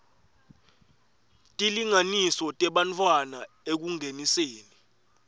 tilinganiso tebantfwana ekungeniseni